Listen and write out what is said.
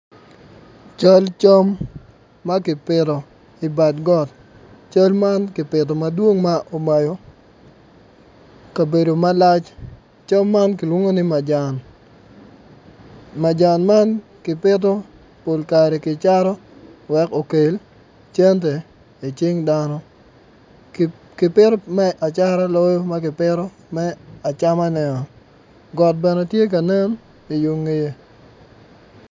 Cal cam ma kipito i bad got cam man kipito madwong ma omayo kabedo malac, cam man kilwongo ni majan majan man kipito pok kare ki cato wek okel cente i cing dano ki pito me acata loyo ma kipito me acamane-o got bene tye ka nen i yo ngeye.